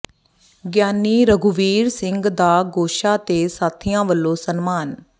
ਗਿਆਨੀ ਰਘੁਵੀਰ ਸਿੰਘ ਦਾ ਗੋਸ਼ਾ ਤੇ ਸਾਥੀਆਂ ਵੱਲੋਂ ਸਨਮਾਨ